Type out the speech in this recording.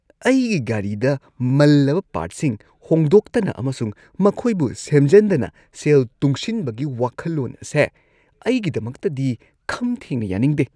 ꯑꯩꯒꯤ ꯒꯥꯔꯤꯗ ꯃꯜꯂꯕ ꯄꯥꯔꯠꯁꯤꯡ ꯍꯣꯡꯗꯣꯛꯇꯅ ꯑꯃꯁꯨꯡ ꯃꯈꯣꯏꯕꯨ ꯁꯦꯝꯖꯟꯗꯅ ꯁꯦꯜ ꯇꯨꯡꯁꯤꯟꯕꯒꯤ ꯋꯥꯈꯜꯂꯣꯟ ꯑꯁꯦ ꯑꯩꯒꯤꯗꯃꯛꯇꯗꯤ ꯈꯝ ꯊꯦꯡꯅ ꯌꯥꯅꯤꯡꯗꯦ ꯫